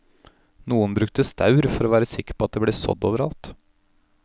Noen brukte staur for å være sikker på at det ble sådd over alt.